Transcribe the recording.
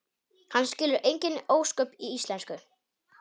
Hann skilur engin ósköp í íslensku.